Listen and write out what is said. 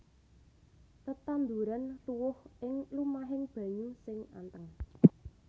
Tetanduran tuwuh ing lumahing banyu sing anteng